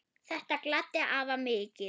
Þetta gladdi afa mikið.